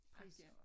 Pris